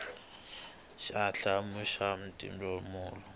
xa b hlamula xa tinhlamulo